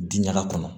Diɲaga kɔnɔ